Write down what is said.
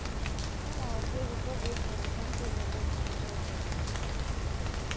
ну молодцы зато выспались вон сегодня в лес на пикник ходили